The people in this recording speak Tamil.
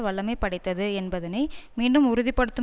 வல்லமைபடைத்தது என்பதனை மீண்டும் உறுதி படுத்தும்